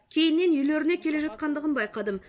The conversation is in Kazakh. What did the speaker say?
кейіннен үйлеріне келе жатқандығын байқадым